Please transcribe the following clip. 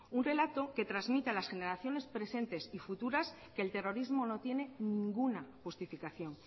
un relato que transmita a las generaciones presentes y futuras que el terrorismo no tiene ninguna justificación